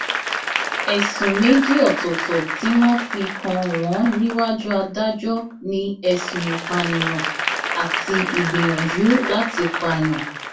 ẹsùn méjì ọtọọtọ tí wọn fi kàn wọn níwájú adájọ ni ẹsùn ìpànìyàn àti ìgbìyànjú láti pààyàn